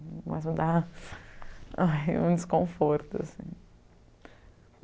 mas me da um desconforto, ai assim.